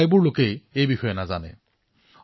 দেশৰ অধিকাংশ লোকেই এই বিষয়ে নাজানে